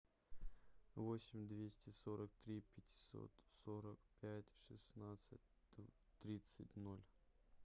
восемь двести сорок три пятьсот сорок пять шестнадцать тридцать ноль